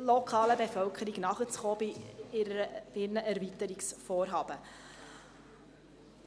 lokalen Bevölkerung bei deren Erweiterungsvorhaben nachzukommen.